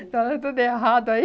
falando tudo errado aí.